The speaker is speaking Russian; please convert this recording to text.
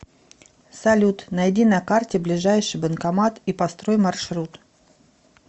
салют найди на карте ближайший банкомат и построй маршрут